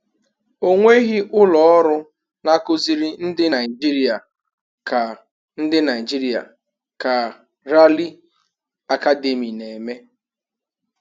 Ọ nweghị ụlọ ọrụ na-akụziri ndị Naijiria ka ndị Naijiria ka Rally Academy na-eme.